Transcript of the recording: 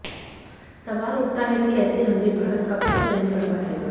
सवाल उठता है कि ऐसे हमले भारत कब तक सहन करता रहेगा